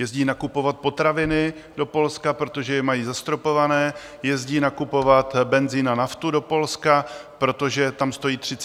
Jezdí nakupovat potraviny do Polska, protože je mají zastropované, jezdí nakupovat benzin a naftu do Polska, protože tam stojí 33 korun.